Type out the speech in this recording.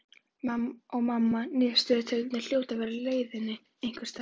Og mamma niðurstöðutölurnar hljóta að vera á leiðinni einhvers staðar.